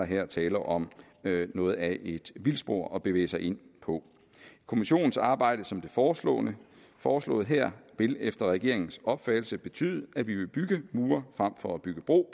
her tale om noget af et vildspor at bevæge sig ind på kommissionens arbejde som foreslået foreslået her vil efter regeringens opfattelse betyde at vi vil bygge mure frem for at bygge bro